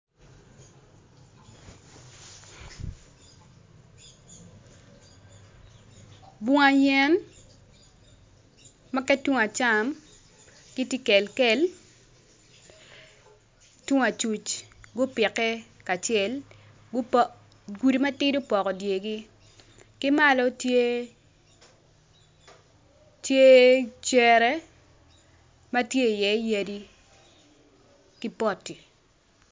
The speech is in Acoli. Bunga yen ma ki tung acam gitye kekel tung acuc gupike kacel gudi matidi opoko dyegi ki malo tye cere ma tye iye yadi ki poti.